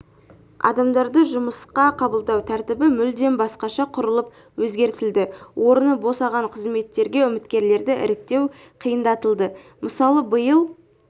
адамдарды жұмысқа қабылдау тәртібі мүлдем басқаша құрылып өзгертілді орны босаған қызметтерге үміткерлерді іріктеу қиындатылды мысалы биыл